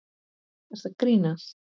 Nei, ertu að grínast?